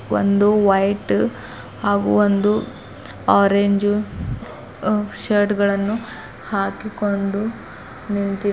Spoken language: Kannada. ಒಂದು ವೈಟ್ ಹಾಗೂ ಒಂದು ಆರೆಂಜ್ ಆ ಶರ್ಟ್ ಗಳನ್ನು ಹಾಕಿಕೊಂಡು ನಿಂತಿ --